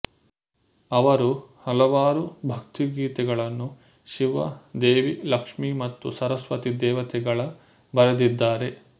ಅವರು ಹಲವಾರು ಭಕ್ತಿ ಗೀತೆಗಳನ್ನು ಶಿವ ದೇವಿ ಲಕ್ಷ್ಮಿ ಮತ್ತು ಸರಸ್ವತಿ ದೇವತೆಗಳ ಬರೆದಿದ್ದಾರೆ